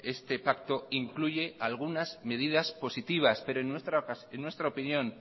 este pacto incluye algunas medidas positivas pero en nuestra opinión